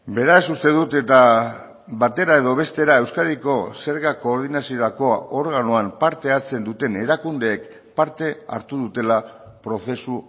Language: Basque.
beraz uste dut eta batera edo bestera euskadiko zerga koordinaziorako organoan parte hartzen duten erakundeek parte hartu dutela prozesu